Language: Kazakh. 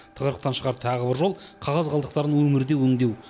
тығырықтан шығар тағы жол қағаз қалдықтарын өңірде өңдеу